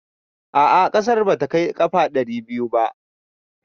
A'a ƙasar ba ta kai ƙafa ɗari biyu ba